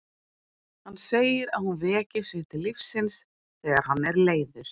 Hann segir að hún veki sig til lífsins þegar hann er leiður.